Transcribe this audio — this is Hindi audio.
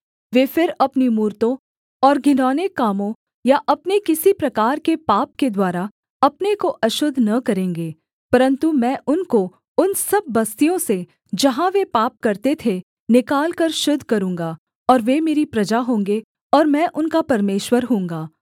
वे फिर अपनी मूरतों और घिनौने कामों या अपने किसी प्रकार के पाप के द्वारा अपने को अशुद्ध न करेंगे परन्तु मैं उनको उन सब बस्तियों से जहाँ वे पाप करते थे निकालकर शुद्ध करूँगा और वे मेरी प्रजा होंगे और मैं उनका परमेश्वर होऊँगा